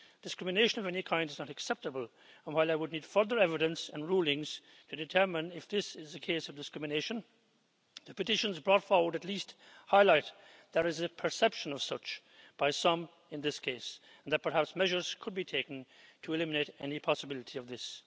Discrimination of any kind is not acceptable and, while I would need further evidence and rulings to determine if this is a case of discrimination, the petitions brought forward at least highlight that there is a perception of such by some in this case, and that perhaps measures could be taken to eliminate any possibility of this.